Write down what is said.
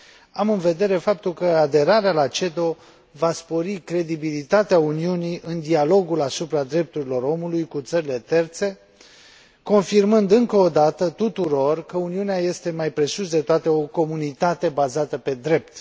Am în vedere faptul că aderarea la CEDO va spori credibilitatea Uniunii în dialogul asupra drepturilor omului cu țările terțe, confirmând încă o dată tuturor că Uniunea este, mai presus de toate, o comunitate bazată pe drept.